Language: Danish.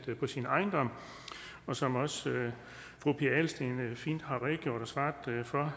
på sin ejendom og som også fru pia adelsteen har redegjort